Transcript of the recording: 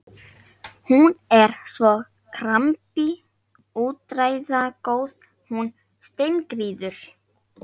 Hún er svo skrambi úrræðagóð, hún Steingerður.